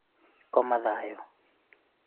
koma thayũ